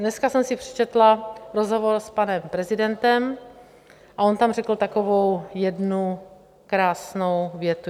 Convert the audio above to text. Dneska jsem si přečetla rozhovor s panem prezidentem a on tam řekl takovou jednu krásnou větu.